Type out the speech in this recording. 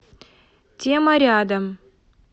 тема рядом